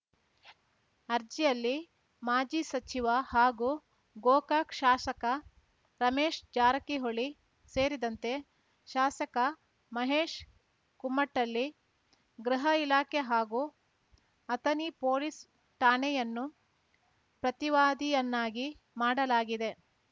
ಅರ್ಜಿಯಲ್ಲಿ ಮಾಜಿ ಸಚಿವ ಹಾಗೂ ಗೋಕಾಕ್‌ ಶಾಸಕ ರಮೇಶ್ ಜಾರಕಿಹೊಳಿ ಸೇರಿದಂತೆ ಶಾಸಕ ಮಹೇಶ್ ಕುಮಟಳ್ಳಿ ಗೃಹ ಇಲಾಖೆ ಹಾಗೂ ಅಥಣಿ ಪೊಲೀಸ್‌ ಠಾಣೆಯನ್ನು ಪ್ರತಿವಾದಿಯನ್ನಾಗಿ ಮಾಡಲಾಗಿದೆ